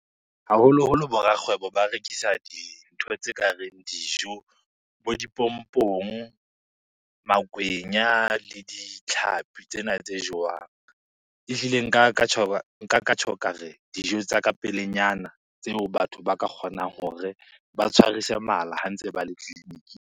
Haholoholo bo rakgwebo ba rekisa dintho tse kareng dijo, bo dipompong, makwenya le ditlhapi tsena tse jowang. Ehlile nka ka nka ka tjho ka re, dijo tsa ka pelenyana tseo batho ba ka kgonang hore ba tshwarise mala ha ntse ba le .